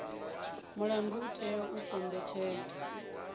mulandu u itela u kombetshedza